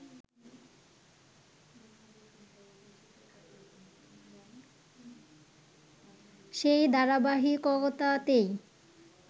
সেই ধারাবাহিকতাতেই